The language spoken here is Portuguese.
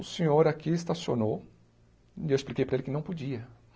O senhor aqui estacionou, e eu expliquei para ele que não podia.